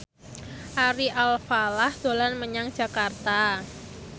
Ari Alfalah dolan menyang Jakarta